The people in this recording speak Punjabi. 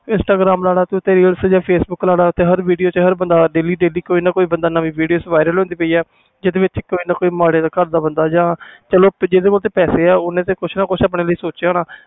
intagram facebook ਲੈ ਲਾ ਤੂੰ ਹਰ video ਚ ਹਰ ਬੰਦਾ ਕੋਈ ਨਾ ਕੋਈ ਨਵੀਂ video ਹੁੰਦੀ ਜਿਥੇ ਵਿਚ ਕੋਈ ਨਾ ਕੋਈ ਮਾੜੇ ਘਰ ਦਾ ਬੰਦਾ ਜਾ ਚਲੋ ਜਿਸ ਕੋਲ ਪੈਸੇ ਆ